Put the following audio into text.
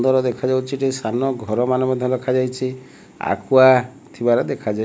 ନ୍ଦର ଦେଖାଯାଉଛି ଏଠି ସାନ ଘର ମାନ ମଧ୍ୟ ରଖାଯାଇଛି ଆକ୍ୱା ଥିବାର ଦେଖା --